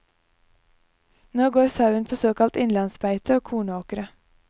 Nå går sauen på såkalt innlandsbeite og kornåkre.